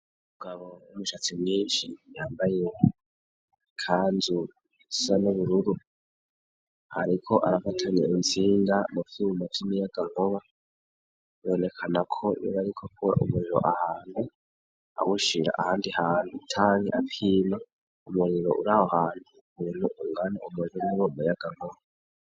Umugabo w'umushatsi mwinshi, yambaye ikanzu isa n'ubururu ,ariko arafatanya intsinga mucuma c'umuyagankuba, bibonekana ko yoba ariko akura umuriro ahantu awushira ahandi hantu , canke apima umuriro uraho hantu ukunge ungane umuguriboba yagankuba.